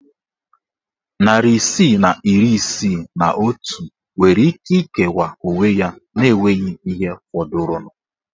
Narị isii na iri isii na otu nwere ike ikewa onwe ya na enweghị ihe fọdụrụnụ.